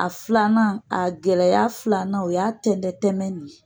A filanan, a gɛlɛya filanan, o y'a tɛntɛn tɛmɛn de ye